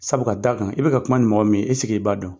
Sabu ka da kan i bɛ ka kuma ni mɔgɔ min ye i b'a dɔn ?